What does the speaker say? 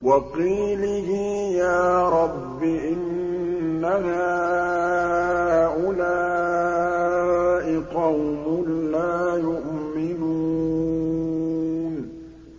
وَقِيلِهِ يَا رَبِّ إِنَّ هَٰؤُلَاءِ قَوْمٌ لَّا يُؤْمِنُونَ